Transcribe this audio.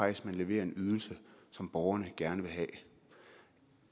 at man leverer en ydelse som borgerne gerne vil have